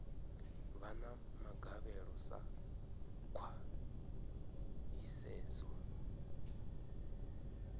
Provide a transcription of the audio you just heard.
vha na magavhelo sa khwahisedzo